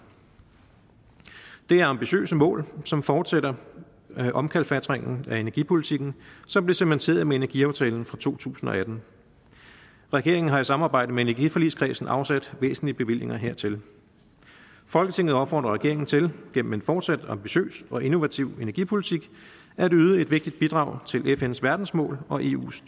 det er ambitiøse mål som fortsætter omkalfatringen af energipolitikken som blev cementeret med energiaftalen fra to tusind og atten regeringen har i samarbejde med energiforligskredsen afsat væsentlige bevillinger hertil folketinget opfordrer regeringen til gennem en fortsat ambitiøs og innovativ energipolitik at yde et vigtigt bidrag til fns verdensmål og eus